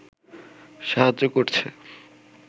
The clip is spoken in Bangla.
সাহায্য করছে